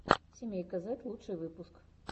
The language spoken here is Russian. семейка зэд лучший выпуск